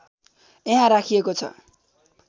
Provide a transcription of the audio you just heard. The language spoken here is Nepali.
यहाँ राखिएको छ